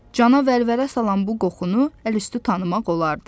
Cana vəlvələ salan bu qoxunu əlüstü tanımaq olardı.